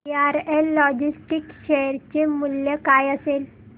VRL logistics share चे मूल्य काय असेल